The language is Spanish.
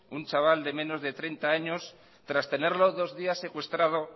un chaval de menos de treinta años tras tenerlo dos días secuestrado